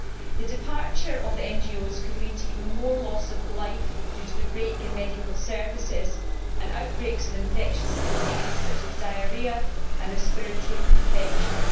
The departure of the NGOs could lead to even more loss of life, due to the break in medical services and outbreaks of infectious diseases such as diarrhoea and respiratory infections.